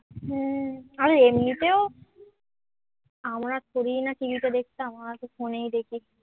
হ্যাঁ, আর এমনিতেও আমরা থোরিই না TV তে দেখতাম আমরা তো phone এই দেখি